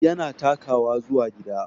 Yana takawa zuwa gida